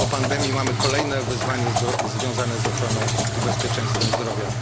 Po pandemii mamy kolejne wyzwania związane z ochroną i bezpieczeństwem zdrowia.